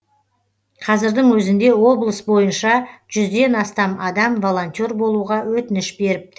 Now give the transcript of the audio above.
қазірдің өзінде облыс бойынша жүзден астам адам волонтер болуға өтініш беріпті